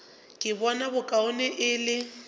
ka bona bokaone e le